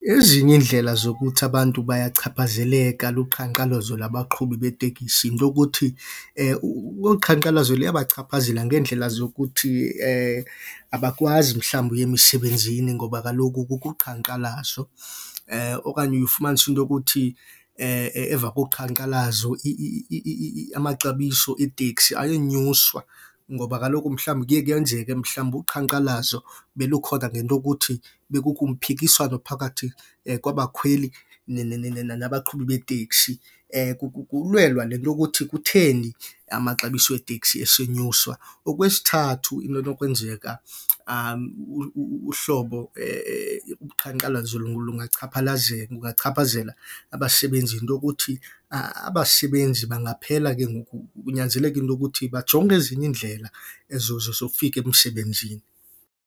Ezinye iindlela zokuthi abantu bayachaphazeleka luqhankqalazo labaqhubi beetekisi into yokuthi olu qhankqalazo luyabachaphazela ngeendlela zokuthi abakwazi mhlawumbi uya emisebenzini ngoba kaloku kukho uqhankqalazo. Okanye uye ufumanise into yokuthi emva koqhankqalazo amaxabiso eetekisi ayenyuswa ngoba kaloku mhlawumbi kuye kwenzeke mhlawumbi uqhankqalazo belukhona ngento okuthi bekukho umphikiswano phakathi kwabakhweli nabaqhubi beeteksi, kulwelwa le nto yokuthi kutheni amaxabiso wetekisi esenyuswa. Okwesithathu, into enokwenzeka uhlobo uqhankqalazo lungachaphazela abasebenzi yinto okuthi abasebenzi bangaphela ke ngoku kunyanzeleka into okuthi bajonge ezinye iindlela zofika emsebenzini.